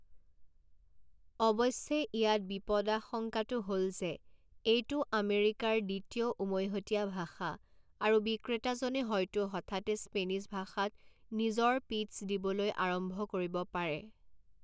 অৱশ্যে ইয়াত বিপদাশংকাটো হ'ল যে এইটো আমেৰিকাৰ দ্বিতীয় উমৈহতীয়া ভাষা আৰু বিক্ৰেতাজনে হয়তো হঠাতে স্পেনিছ ভাষাত নিজৰ পিট্চ দিবলৈ আৰম্ভ কৰিব পাৰে।